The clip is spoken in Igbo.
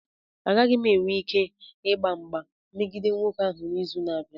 Agaghị m enwe ike ịgba mgba megide nwoke ahụ n'izu na-abịa.